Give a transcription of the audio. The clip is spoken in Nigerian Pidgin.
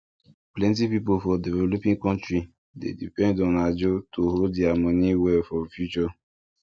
plenty people for developing country dey depend on ajo to hold their money well for future